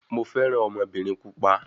Mo fẹ́ràn ọmọbìnrin pupa.